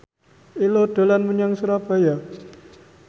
Ello dolan menyang Surabaya